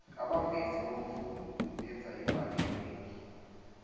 abavezi bomvumi benza imali enengi